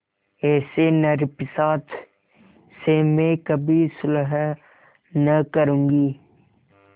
ऐसे नरपिशाच से मैं कभी सुलह न करुँगी